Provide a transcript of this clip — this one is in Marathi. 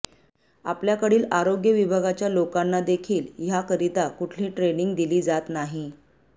आपल्या कडील आरोग्य विभागाच्या लोकांना देखील ह्याकरिता कुठली ट्रेनींग दिली जात नाही